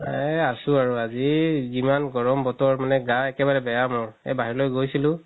এই আছো আৰু আজি যিমান গৰম বতৰ মানে গা একেবাৰে এই বাহিৰলৈ গৈছিলো